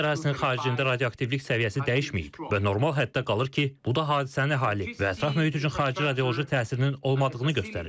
Natanz ərazisinin xaricində radioaktivlik səviyyəsi dəyişməyib və normal həddə qalır ki, bu da hadisənin əhali və ətraf mühit üçün xarici radioloji təsirinin olmadığını göstərir.